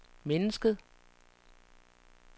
mennesket